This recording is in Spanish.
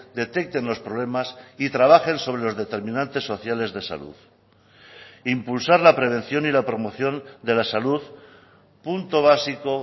detecten los problemas y trabajen sobre los determinantes sociales de salud impulsar la prevención y la promoción de la salud punto básico